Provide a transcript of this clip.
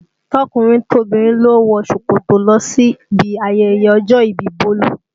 Tọkùnrin tobìnrin ló wọ ṣòkòtò lọ sí ibi ayẹyẹ ọjọ́ ìbí Bolu